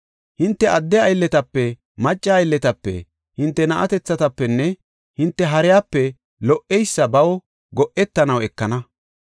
Hinte adde aylletape, macca aylletape, hinte na7atethatafenne hinte hariyape lo77eysa baw go7etanaw ekana.